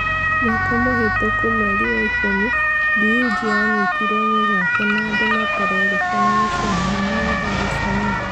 Mwaka mũhetũku mweri wa ikũmi, Dewji anyitirwo mĩgwate na andũ matarerĩkana mũcĩĩ mũnene wa Dar es Salaam